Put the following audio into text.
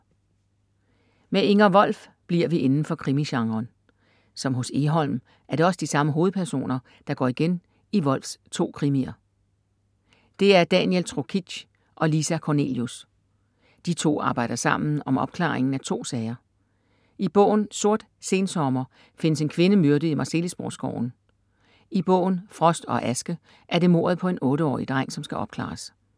Med Inger Wolf bliver vi indenfor krimigenren. Som hos Egholm er det også de samme hovedpersoner, der går igen i Wolfs to krimier. Det er Daniel Trokic og Lisa Kornelius. De to arbejder sammen om opklaringen af to sager. I bogen Sort sensommer findes en kvinde myrdet i Marselisborg skoven. I bogen Frost og aske er det mordet på en otteårig dreng, som skal opklares.